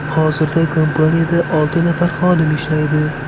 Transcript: Hozirda kompaniyada olti nafar xodim ishlaydi.